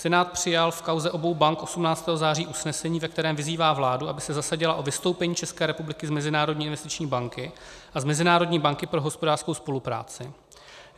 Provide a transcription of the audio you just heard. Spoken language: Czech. Senát přijal v kauze obou bank 18. září usnesení, ve kterém vyzývá vládu, aby se zasadila o vystoupení České republiky z Mezinárodní investiční banky a z Mezinárodní banky pro hospodářskou spolupráci.